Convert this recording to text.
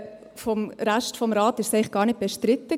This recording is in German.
Vom Rest des Rates war es eigentlich gar nicht bestritten.